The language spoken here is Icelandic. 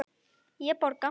Ég borga.